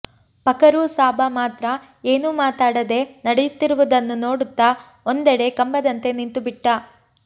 ಪಕರೂ ಸಾಬ ಮಾತ್ರ ಏನೂ ಮಾತಾಡದೆ ನಡೆಯುತ್ತಿರುವುದನ್ನು ನೋಡುತ್ತ ಒಂದೆಡೆ ಕಂಬದಂತೆ ನಿಂತುಬಿಟ್ಟ